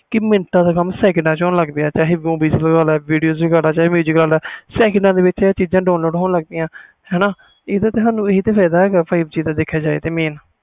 ਕਿ ਮਿੰਟਾ ਦਾ ਕੰਮ ਸੈਕੰਡ ਵਿਚ ਹੋਣ ਲੱਗ ਗਿਆ video ਵਾਲਾ ਚਾਹੇ movie ਵਾਲਾ ਜਿਥੇ ਇਹ ਚੀਜ਼ਾਂ download ਹੋਣ ਲਗ ਗਿਆ ਇਹੋ ਤੇ benefit ਆ ਸਾਨੂੰ five G ਦਾ